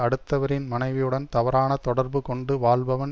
அடுத்தவரின் மனைவியுடன் தவறான தொடர்பு கொண்டு வாழ்பவன்